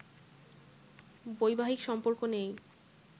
বৈবাহিক সম্পর্ক নেই